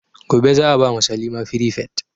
Gobe za a ba ma salima firifet